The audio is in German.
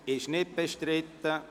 – Es ist nicht bestritten.